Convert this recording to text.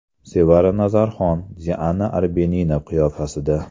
Sevara Nazarxon Diana Arbenina qiyofasida.